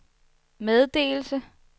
meddelelse